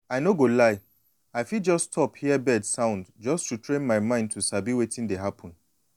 i no go lie i fit just stop hear bird sound just to train myself to sabi wetin dey happen.